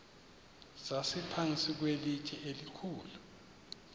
sasiphantsi kwelitye elikhulu